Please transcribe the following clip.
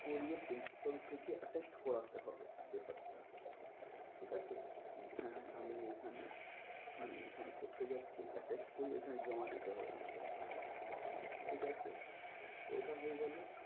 করিয়ে principal থেকে attested করাতে হবে paper টা ঠিক আছে? কি হ্যাঁ আমি এখানে মানে এখানে পড়তে যাচ্ছি attested করিয়ে এখানে জমা দিতে হবে আমাদের কে ঠিক আছে। ওটা হয়ে গেলো।